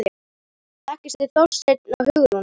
Þekkist þið Þorsteinn og Hugrún?